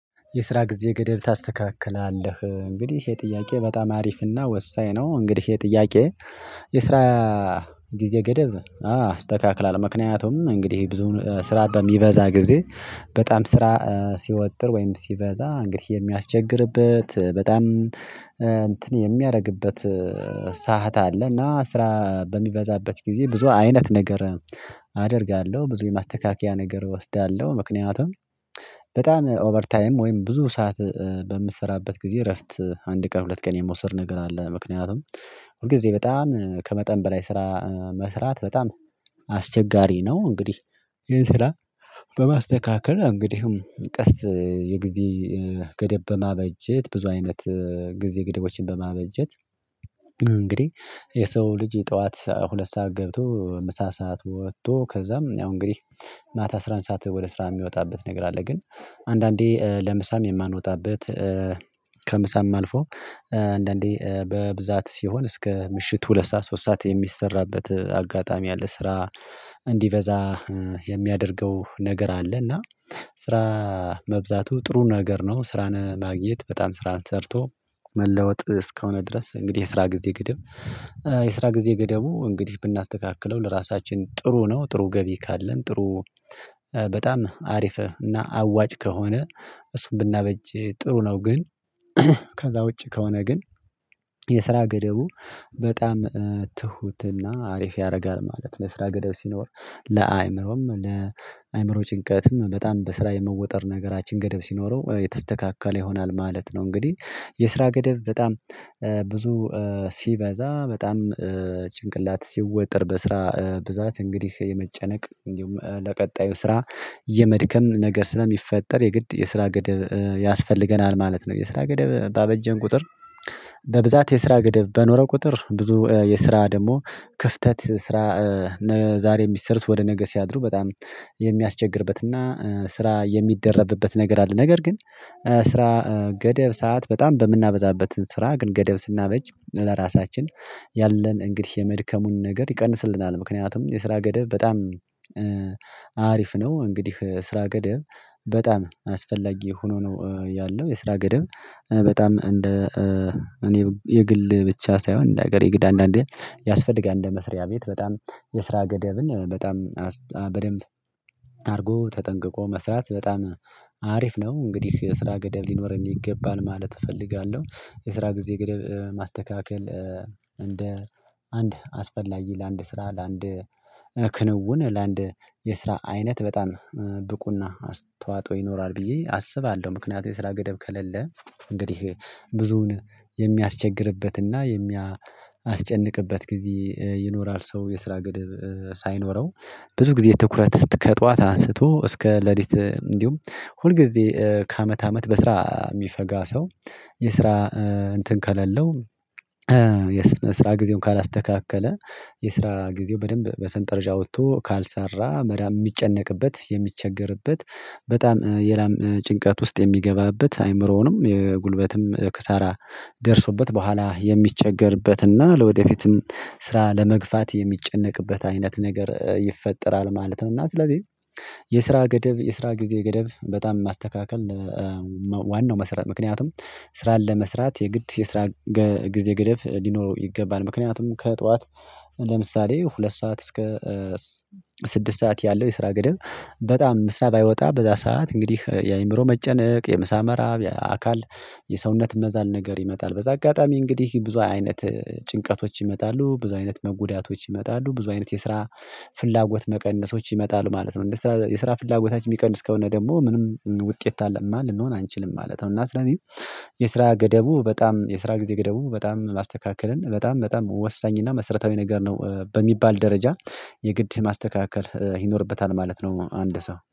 የስራ ጊዜ ገደብ ታስተካክላለህ? እንግዲህ ይህ ጥያቄ በጣም አሪፍና ወሳኝ ነው። እንግዲህ ይህ ጥያቄ የስራ ጊዜ ገደብ አዎ አስተካክላለሁ። ምክንያቱም እንግዲህ ብዙ ስራ በሚበዛ ጊዜ በጣም ስራ ሲወጥር ወይም ሲበዛ እንግዲህ የሚያስቸግርበት፤ በጣም እንትን የሚያደርግበት ሰዓት አለ። እና ስራ በሚበዛበት ጊዜ ብዙ አይነት ነገር አደርጋለሁ። ብዙ የማስተካከያ ነገር እወስዳለሁ። ምክንያቱም በጣም ኦቨር ታይም ወይም ብዙ ሰዓት በምትሰራበት ጊዜ እረፍት አንድ ቀን ሁለት ቀን የመውሰድ ነገር አለ። ምክንያቱም ሁል ጊዜ በጣም ከመጠን በላይ ስራ መስራት በጣም አስቸጋሪ ነው። እንግዲህ ይሄን ስራ በማስተካከል እንግዲህም ቀስ የጊዜ ገደብ በማበጀት ብዙ አይነት ጊዜ ገደቦችን በማበጀት፤ እንግዲህ የሰው ልጅ ጠዋት ሁለት ሰዓት ገብቶ ምሳ ሰዓት ወጥቶ፤ ከዛም ያው እንግዲህ ማታ አስራ አንድ ሰዓት ወደ ስራ የሚወጣበት ነገር አለ። ግን አንዳንዴ ለምሳም የማንወጣበት ከምሳም አልፎ አንዳንዴ በብዛት ሲሆን እስከ ምሽት ሁለት ሰዓት ሶስት ሰዓት የሚሰራበት አጋጣሚ አለ። ስራ እንዲበዛ የሚያደርገው ነገር አለ። እና ስራ መብዛቱ ጥሩ ነገር ነው። ስራን ማግኘት በጣም ስራን ሰርቶ መለወጥ እስከሆነ ድረስ እንግዲህ የስራ ጊዜ ገደብ የስራ ጊዜ ገደቡ እንግዲህ ብናስተካክለው ለራሳችን ጥሩ ነው። ጥሩ ገቢ ካለን ጥሩ በጣም አሪፍህ እና አዋጭ ከሆነ እሱን ብናበጅ ጥሩ ነው። ግን ከዛ ውጪ ከሆነ ግን የስራ ገደቡ በጣም ትሁትና አሪፍ ያደርጋል ማለት ነው። ለስራ ገደብ ሲኖር ለአእምሮም፣ ለአእምሮ ጭንቀትም በጣም በስራ የመወጠር ነገራችን ገደብ ሲኖረው የተስተካከለ ይሆናል ማለት ነው። እንግዲህ የስራ ገደብ በጣም ብዙ ሲበዛ፤ በጣም ጭንቅላት ሲወጠር በስራ ብዛት እንግዲህ የመጨነቅ፤ እንዲሁም ለቀጣዩ ስራ የመድከም ነገር ስለሚፈጠር የግድ የስራ ገደብ ያስፈልገናል ማለት ነው። የስራ ገደብ ባበጀን ቁጥር በብዛት የስራ ገደብ በኖረው ቁጥር ብዙ የስራ ደግሞ ክፍተት፤ ስራ ዛሬ የሚትሰሩት ወደ ነገ ስያድሩ በጣም የሚያስቸግርበትና ስራ የሚደረብበት ነገር አለ። ነገር ግን ስራ ገደብ ሰዓት በጣም በምናበዛበት ስራ ግን ገደብ ስናበጅ ለራሳችን ያለን እንግዲህ የመድከሙን ነገር ይቀንስልናል። ምክንያቱም የስራ ገደብ በጣም አሪፍ ነው እንግዲህ ስራ ገደብ በጣም አስፈላጊ ሆኖ ነው ያለው። የስራ ገደብ በጣም እንደ እኔ የግል ብቻ ሳይሆን እንደ ሀገር የግድ አንዳንዴ ያስፈልጋል። እንደ መስሪያ ቤት በጣም የስራ ገደብን በጣም በደንብ አድርጎ ተጠንቅቆ መስራት በጣም አሪፍ ነው። እንግዲህ የስራ ገደብ ሊኖረኝ ይገባል ማለት እፈልጋለሁ። የስራ ጊዜ ገደብ ማስተካከል እንደ አንድ አስፈላጊ ለአንድ ስራ ለአንድ ክንውን ለአንድ የስራ አይነት በጣም ብቁና አስተዋጦ ይኖራል ብዬ አስባለሁ። ምክንያቱም የስራ ገደብ ከሌለ እንግዲህ ብዙውን የሚያስቸግርበትና የሚያስጨንቅበት ጊዜ ይኖራል። ሰው የስራ ግድብ ሳይኖረው ብዙ ጊዜ ትኩረት ከጧት አንስቶ እስከ ሌሊት እንዲሁም ሁል ጊዜ ከአመት አመት በስራ የሚፈጋ ሰው የስራ እንትን ከሌለው የስራ ጊዜውን ካላስተካከለ የስራ ጊዜው በደንብ በሰንጠረዥ አውጥቶ ካልሰራም የሚጨነቅበት፣ የሚቸገርበት በጣም የላም ጭንቀት ውስጥ የሚገባበት አይምሮውንም የጉልበትም ከሳራ ደርሶበት በኋላ የሚቸገርበትና ለወደፊትም ስራ ለመግፋት የሚጨነቅበት አይነት ነገር ይፈጠራል ማለት ነው። እና ስለዚህ የስራ ገደብ፣ የስራ ጊዜ ገደብ፣ በጣም ማስተካከል ዋናው መሰረት ምክንያቱም ስራን ለመስራት የግድ የስራ ጊዜ ገደብ ሊኖረው ይገባል። ምክንያቱም ከጠዋት ለምሳሌ ሁለት ሰዓት እስከ ስድስት ሰዓት ያለው የስራ ገደብ በጣም ምሳ ባይወጣ በዛ ሰዓት እንግዲህ የአእምሮ መጨነቅ የምሳ መራብ አካል የሰውነት መዛል ነገር ይመጣል። በዛ አጋጣሚ እንግዲህ ብዙ አይነት ጭንቀቶች ይመጣሉ። ብዙ አይነት መጎዳቶች ይመጣሉ። ብዙ አይነት የስራ ፍላጎት መቀነሶች ይመጣሉ ማለት ነው። እንደዚህ የስራ ፍላጎታችን የሚቀንስ ከሆነ ደግሞ ምንም ውጤታማ ልንሆን አንችልም ማለት ነው። እና ስለዚህ የስራ ገደቡ በጣም የስራ ጊዜ ገደቡ በጣም ማስተካከልን በጣም በጣም ወሳኝና መሰረታዊ ነገር ነው። በሚባል ደረጃ የግድ ማስተካከል ይኖርበታል ማለት ነው። አንድ ሰው